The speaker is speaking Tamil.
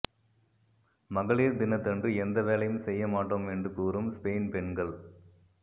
மகளிர் தினத்தன்று எந்த வேலையும் செய்ய மாட்டோம் என்று கூறும் ஸ்பெயின் பெண்கள்